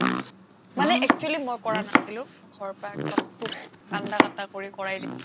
মানে actually মই কৰা নাছিলো মোৰ ঘৰৰ পৰা একদম খুব কান্দা কাটা কৰি কৰাই দিছিলে